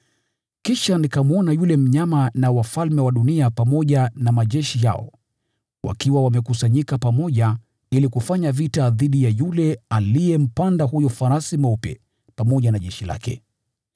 Kisha nikamwona yule mnyama na wafalme wa dunia pamoja na majeshi yao wakiwa wamekusanyika pamoja ili kufanya vita dhidi ya yule aliyempanda farasi pamoja na jeshi lake.